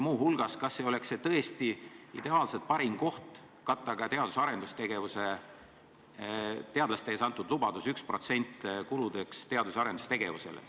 Muu hulgas, kas ei oleks see tõesti ideaalselt parim koht katta ka teadlastele antud lubadust, et 1% läheb teadus- ja arendustegevuse kuludeks?